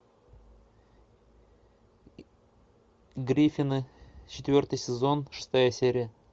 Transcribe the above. гриффины четвертый сезон шестая серия